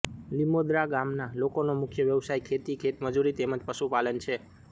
લિમોદરા ગામના લોકોનો મુખ્ય વ્યવસાય ખેતી ખેતમજૂરી તેમ જ પશુપાલન છે